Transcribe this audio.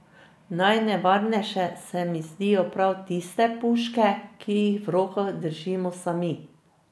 Najnevarnejše se mi zdijo prav tiste puške, ki jih v rokah držimo sami.